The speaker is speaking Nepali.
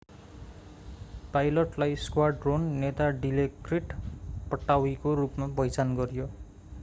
पाइलटलाई स्क्वाड्रोन नेता डिलोक्रिट पट्टावीको रूपमा पहिचान गरियो